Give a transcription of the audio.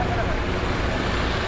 bu da burdan ağacı kəsdi.